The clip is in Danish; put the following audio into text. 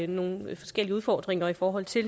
nogle forskellige udfordringer i forhold til